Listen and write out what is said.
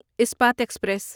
Ispat express